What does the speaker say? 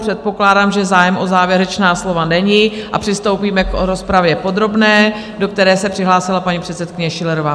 Předpokládám, že zájem o závěrečná slova není, a přistoupíme k rozpravě podrobné, do které se přihlásila paní předsedkyně Schillerová.